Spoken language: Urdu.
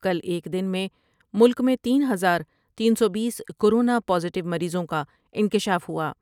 کل ایک دن میں ملک میں تین ہزار تین سو بیس رکورونا پازیٹیو مریضوں کا انکشاف ہوا۔